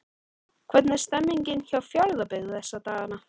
Hvernig er stemningin hjá Fjarðabyggð þessa dagana?